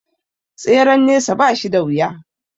Tseren nesa ba shi da wuya